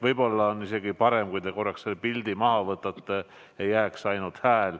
Võib-olla on isegi parem, kui te korraks pildi maha võtate, et jääks ainult hääl.